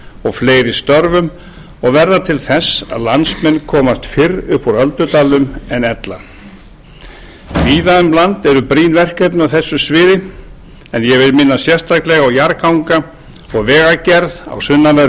og fleiri störfum og verða til þess að landsmenn komast fyrr upp úr öldudalnum en ella víða um land eru brýn verkefni á þessu sviði en ég vil minna sérstaklega á jarðganga og vegagerð á sunnanverðum